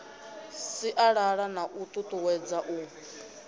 sialala na u tutuwedza u